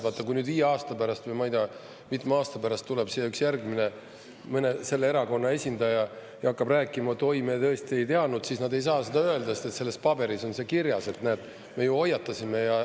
Vaata, kui viie aasta pärast või ma ei tea, mitme aasta pärast tuleb siia üks järgmine selle erakonna esindaja ja hakkab rääkima: "Oi, me tõesti ei teadnud," siis nad ei saa seda öelda, sest selles paberis on see kirjas, näed, me ju hoiatasime.